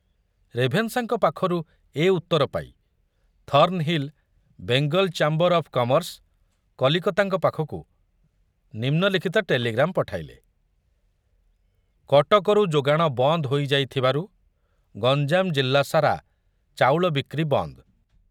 ରେଭେନ୍ସାଙ୍କ ପାଖରୁ ଏ ଉତ୍ତର ପାଇ Thornhill Bengal chamber of commerce, କଲିକତାଙ୍କ ପାଖକୁ ନିମ୍ନଲିଖିତ ଟେଲିଗ୍ରାମ ପଠାଇଲେ, କଟକରୁ ଯୋଗାଣ ବନ୍ଦ ହୋଇ ଯାଇଥିବାରୁ ଗଞ୍ଜାମ ଜିଲ୍ଲାସାରା ଚାଉଳ ବିକ୍ରି ବନ୍ଦ।